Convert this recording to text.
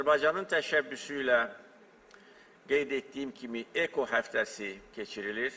Azərbaycanın təşəbbüsü ilə qeyd etdiyim kimi EKO həftəsi keçirilir.